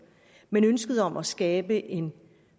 men ønsket om at skabe en